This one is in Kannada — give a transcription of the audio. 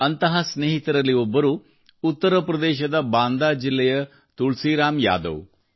ಅಂತಹ ಸ್ನೇಹಿತರಲ್ಲಿ ಒಬ್ಬರು ಉತ್ತರಪ್ರದೇಶದ ಬಾಂದಾ ಜಿಲ್ಲೆಯ ತುಳಸಿರಾಮ್ ಯಾದವ್